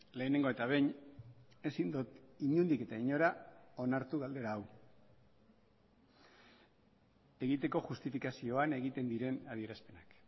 lehenengo eta behin ezin dut inondik eta inora onartu galdera hau egiteko justifikazioan egiten diren adierazpenak